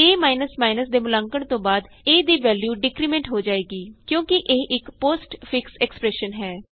ਏ ਦੇ ਮੁਲਾਂਕਣ ਤੋਂ ਬਾਅਦ A ਦੀ ਵੈਲਯੂ ਡਿਕਰੀਮੈਂਟ ਹੋ ਜਾਏਗੀ ਕਿਉਂਕਿ ਇਹ ਇਕ ਪੋਸਟ ਫਿਕਸ ਐਕਸਪਰੈਸ਼ਨ ਹੈ